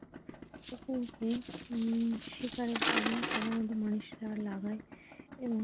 উম শিকারের কাজে সাধারণত মানুষরা লাগায় এবং।